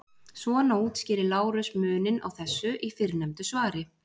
Svona útskýrir Lárus muninn á þessu í fyrrnefndu svari: